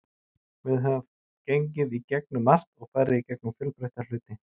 Við höfum gengið í gegnum margt og farið í gegnum fjölbreytta hluti.